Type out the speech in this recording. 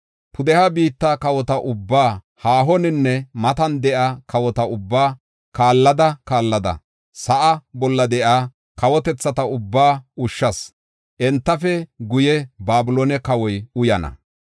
Pudeha biitta kawota ubbaa, haahoninne matan de7iya kawota ubbaa kaallada kaallada sa7aa bolla de7iya kawotethata ubbaa ushshas. Entafe guye Babiloone kawoy uyana.